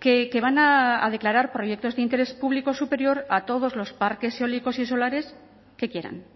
que van a declarar proyectos de interés público superior a todos los parques eólicos y solares que quieran